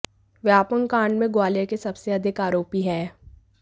व्यापमं कांड में ग्वालियर से सबसे अधिक आरोपी हैं